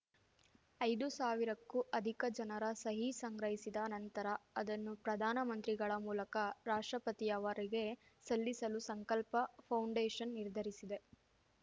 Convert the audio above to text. ಐದು ಸಾವಿರಕ್ಕೂ ಅದಿಕ ಜನರ ಸಹಿ ಸಂಗ್ರಹಿಸಿದ ನಂತರ ಅದನ್ನು ಪ್ರಧಾನ ಮಂತ್ರಿಗಳ ಮೂಲಕ ರಾಷ್ಟ್ರಪತಿಯವರಿಗೆ ಸಲ್ಲಿಸಲು ಸಂಕಲ್ಪ ಫೌಂಡೇಷನ್‌ ನಿರ್ಧರಿಸಿದೆ